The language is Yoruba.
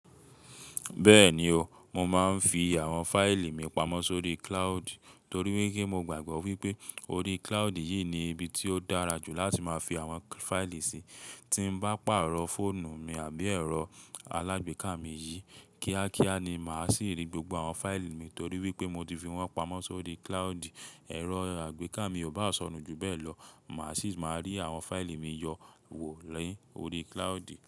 Bẹ́ẹ̀ni o, mo máa ń fi àwọn fáìlì mi pamọ́ sórí cloud torí wípé mo gbàgbọ́ wípé orí cloud yìí ni ibi tí ó dára jù láti máa fi àwọn fáìlì sí. Tí ń bá pàrọ̀ fóònù mi àbí ẹ̀rọ alágbèéká mi yìí, kíákíá ni màá sì rí gbogbo àwọn fáìlì mi torí wípé mo ti fi wọ́n pamọ́ sórí cloud. Ẹ̀rọ àgbéká mi ò bá sọnù ju bẹ́ẹ̀ lọ, mà á sì máa rí àwọn fáìlì mi yọ wò lórí cloud.